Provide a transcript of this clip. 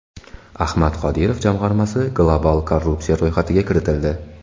Ahmad Qodirov jamg‘armasi global korrupsiya ro‘yxatiga kiritildi.